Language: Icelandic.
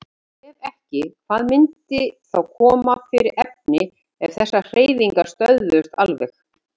Ef ekki, hvað myndi þá koma fyrir efni ef þessar hreyfingar stöðvuðust alveg?